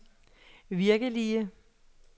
virkelige